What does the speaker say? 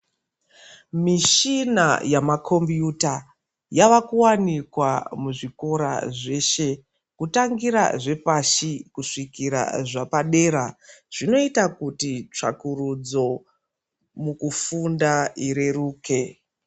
Mishina yamakombiyuta yava kuwanikwa muzvikora zveshe kutangira zvepashi kusvikira zvapadera zvinoita kuti tsvakurudzo mukufunda ireruke.